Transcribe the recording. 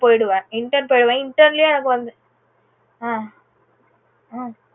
போயிடுவேன் intern லேயே எனக்கு வந்து ஆஹ் ஆஹ்